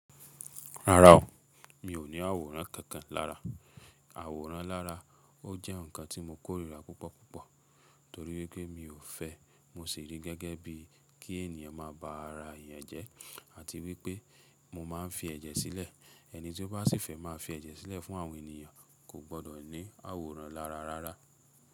Rárá o, mi ò ní àwòrán kankan lára. Àwòrán lára ó jẹ́ ǹnkan tí mo kórìíra púpọ̀púpọ̀ torí wipé mi ò fẹ́ mo sì rí gẹ́gẹ́ bí kí ènìyàn máa ba ara èèyàn jẹ́ àti wípé mo máa ń fi ẹ̀jẹ̀ sílẹ̀. Ẹni tí ó bá sì fẹ́ máa fi ẹ̀jẹ̀ sílẹ̀ fún àwọn ènìyàn kò gbọ́dọ̀ ní àwòrán lára rárá.